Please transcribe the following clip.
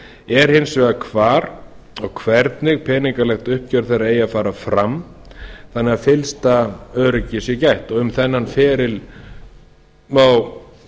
er hins vegar hvar og hvernig peningalegt uppgjör þeirra eigi að fara fram þannig að fyllsta öryggis sé gætt og um þennan feril má